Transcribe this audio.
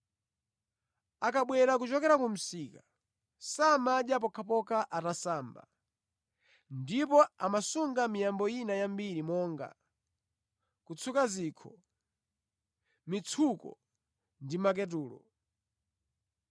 Akabwera kuchokera ku msika samadya pokhapokha atasamba. Ndipo amasunga miyambo ina yambiri monga, kutsuka zikho, mitsuko ndi maketulo).